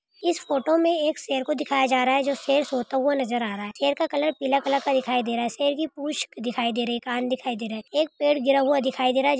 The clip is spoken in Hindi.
इस फोटो मे एक शेर को दिखाई जा रहा है शेर सोता हुआ नजर आ रहा है शेर का कलर पीला कलर का दिखाई दे रहा है शेर की पुच दिखाई दे रही है कान दिखाई दे रहे है एक पेड़ गिरा हुआ दिखाई दे रहा है।